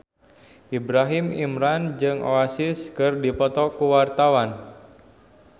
Ibrahim Imran jeung Oasis keur dipoto ku wartawan